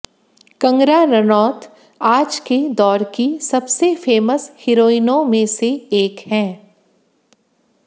कंगना रनौत आज के दौर की सबसे फेमस हिरोइनों में से एक हैं